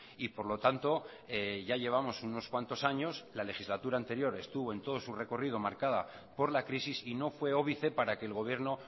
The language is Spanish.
y por lo tanto ya llevamos unos cuantos años la legislatura anterior estuvo en todos su recorrido marcada por la crisis y no fue óbice para que el gobierno